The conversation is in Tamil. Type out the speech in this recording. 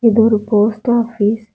இது ஒரு போஸ்ட் ஆபீஸ் .